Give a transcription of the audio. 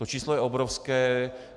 To číslo je obrovské.